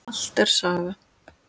Allt er saga.